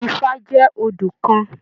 Ifá jẹ odù kàn.